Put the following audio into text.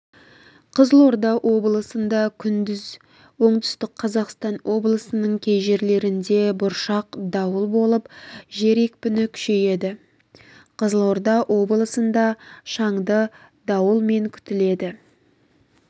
қызылорда облысында күндіз оңтүстік қазақстан облысының кей жерлерінде бұршақ дауыл болып жел екпіні күшейеді қызылорда облысында шаңды дауылмен күтіледі